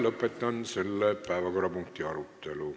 Lõpetan selle päevakorrapunkti arutelu.